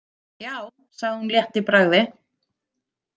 Já, sagði hún létt í bragði.